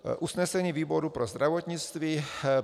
Usnesení výboru pro zdravotnictví.